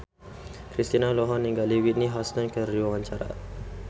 Kristina olohok ningali Whitney Houston keur diwawancara